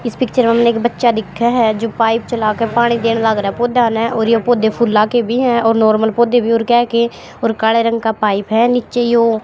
इस पिक्चर हमने एक बच्चा देखा है जो पाइप चला कर पानी देन लग रहा पौधा ना और ये पौधे फूला के भी हैं और नॉर्मल पौधे भी और क्या कि और काले रंग का पाइप है नीचे यू।